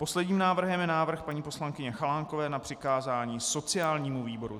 Posledním návrhem je návrh paní poslankyně Chalánkové na přikázání sociálnímu výboru.